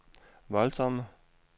voldsomme